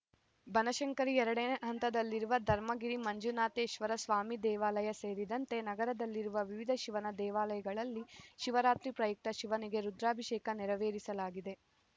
ಬನಶಂಕರಿ ಎರಡನೇ ಹಂತದಲ್ಲಿರುವ ಧರ್ಮಗಿರಿ ಮಂಜುನಾಥೇಶ್ವರ ಸ್ವಾಮಿ ದೇವಾಲಯ ಸೇರಿದಂತೆ ನಗರದಲ್ಲಿರುವ ವಿವಿಧ ಶಿವನ ದೇವಾಲಯಗಳಲ್ಲಿ ಶಿವರಾತ್ರಿ ಪ್ರಯುಕ್ತ ಶಿವನಿಗೆ ರುದ್ರಾಭಿಷೇಕ ನೆರವೇರಿಸಲಾಗಿದೆ